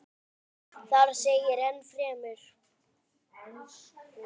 Þar segir enn fremur